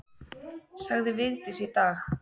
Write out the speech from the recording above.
Sagði Vigdís í dag.